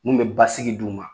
Mu bɛ basigi d' u ma